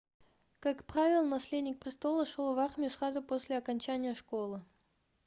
как правило наследник престола шел в армию сразу после окончания школы